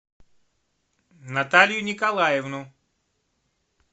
наталью николаевну